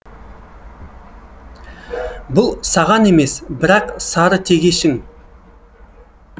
бұл саған емес бірақ сары тегешің